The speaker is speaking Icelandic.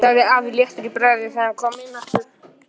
sagði afi léttur í bragði þegar hann kom inn aftur.